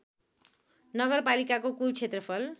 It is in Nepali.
नगरपालिकाको कूल क्षेत्रफल